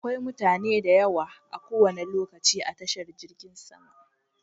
Akwai mutane da yawa a kowane lokaci a tashar jirgin sama.